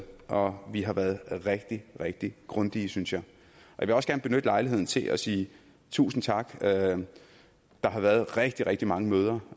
og vi har været rigtig rigtig grundige synes jeg jeg vil også gerne benytte lejligheden til at sige tusind tak der har været rigtig rigtig mange møder